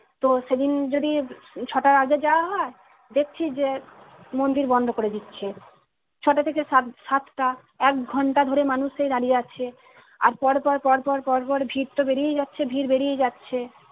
তো সেদিন যদি আহ ছটার আগে যাওয়া হয় দেখছি যে মন্দির বন্ধ করে দিচ্ছে। ছটা থেকে সাত সাতটা এক ঘন্টা ধরে মানুষ সেই দাঁড়িয়ে আছে আর পরপর পরপর পরপর ভিড়তো বেড়েই যাচ্ছে ভিড় বেড়েই যাচ্ছে